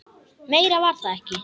Meira var það ekki.